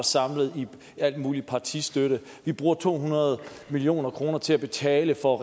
samlet i al mulig partistøtte vi bruger to hundrede million kroner til at betale for